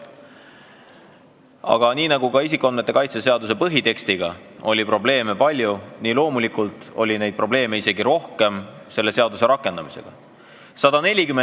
Aga kui isikuandmete kaitse seaduse põhitekstiga oli palju probleeme, siis selle seaduse rakendamisega oli probleeme isegi rohkem.